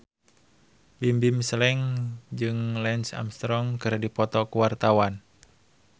Bimbim Slank jeung Lance Armstrong keur dipoto ku wartawan